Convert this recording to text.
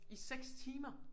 I 6 timer?